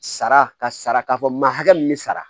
Sara ka saraka fɔ ma hakɛ min bɛ sara